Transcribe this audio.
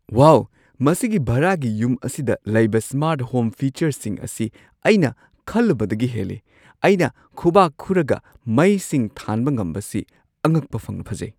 ꯋꯥꯎ, ꯃꯁꯤꯒꯤ ꯚꯔꯥꯒꯤ ꯌꯨꯝ ꯑꯁꯤꯗ ꯂꯩꯕ ꯁ꯭ꯃꯥꯔꯠ ꯍꯣꯝ ꯐꯤꯆꯔꯁꯤꯡ ꯑꯁꯤ ꯑꯩꯅ ꯈꯜꯂꯨꯕꯗꯒꯤ ꯍꯦꯜꯂꯤ꯫ ꯑꯩꯅ ꯈꯨꯕꯥꯛ ꯈꯨꯔꯒ ꯃꯩꯁꯤꯡ ꯊꯥꯟꯕ ꯉꯝꯕꯁꯤ ꯑꯉꯛꯄ ꯐꯪꯅ ꯐꯖꯩ!